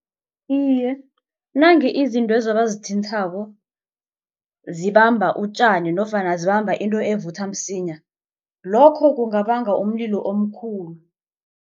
Iye, nange izintwezo abazithinthako zibamba utjani nofana zibamba into evutha msinya lokho kungabanga umlilo omkhulu.